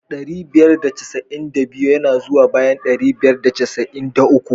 Dari biyar da casa'in da biyu ya na zuwa bayan ɗari biyar da casa'in da uku.